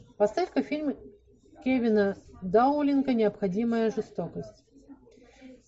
поставь ка фильм кевина даулинга необходимая жестокость